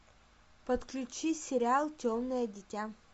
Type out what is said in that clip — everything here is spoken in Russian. подключи сериал темное дитя